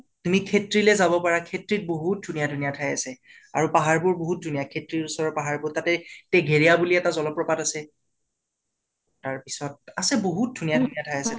তুমি খেত্ৰীলে যাব পাৰা। খেত্ৰীত ধুনীয়া ধুনীয়া ঠাই আছে। আৰু পাহাৰ বোৰ বাহুত ধুনীয়াকে খেত্ৰীৰ ওচৰৰ পাহাৰ বোৰ তাতে টেঘেৰীয়া বুলি এটা জলʼপ্ৰপাত আছে । তাৰ পিছত আছে বাহুত ধুনীয়া ধুনীয়া ঠাই আছে।